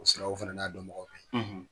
O siraw fana n'a dɔnbagaw bɛ yen.